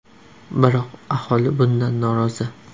Biroq aholi bundan norozi.